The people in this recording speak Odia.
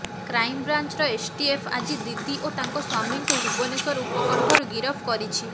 କ୍ରାଇମବ୍ରାଞ୍ଚର ଏସ୍ଟିଏଫ୍ ଆଜି ଦିଦି ଓ ତାଙ୍କ ସ୍ୱାମୀଙ୍କୁ ଭୁବନେଶ୍ୱର ଉପକଣ୍ଠରୁ ଗିରଫ କରିଛି